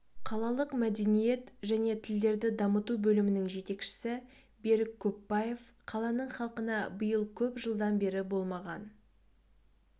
қалалық мәдениет және тілдерді дамыту бөлімінің жетекшісі берік көпбаев қаланың халқына биыл көп жылдан бері болмаған